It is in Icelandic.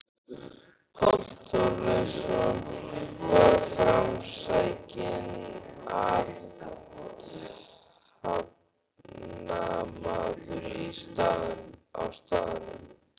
Páll Þorleifsson var framsækinn athafnamaður á staðnum.